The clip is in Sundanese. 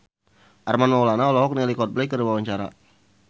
Armand Maulana olohok ningali Coldplay keur diwawancara